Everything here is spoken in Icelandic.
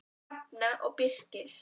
Hrefna og Birkir.